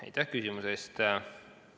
Aitäh küsimuse eest!